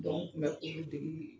n kun bɛ k'olu degi